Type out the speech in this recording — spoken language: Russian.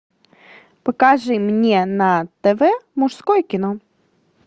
покажи мне на тв мужское кино